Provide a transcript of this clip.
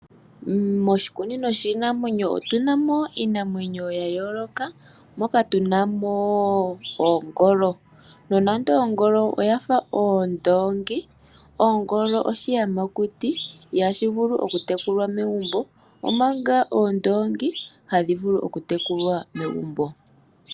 Moshikunino shiinamwenyo otu na mo iinamwenyo ya yooloka moka tu na mo oongolo. Nonando ongolo oya fa oondoongi, ongolo oshiyamakuti ihashi vulu okutekulwa megumbo, omanga oondongi ohadhi vulu okutekulwa megumbo.